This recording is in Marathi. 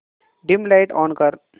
डिम लाइट ऑन कर